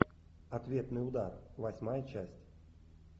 ответный удар восьмая часть